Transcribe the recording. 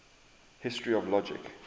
history of logic